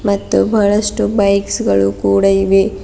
ಮತ್ತು ಬಹಳಷ್ಟು ಬೈಕ್ಸ್ ಗಳು ಕೂಡ ಇವೆ.